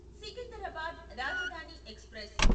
Secunderabad Rajdhani express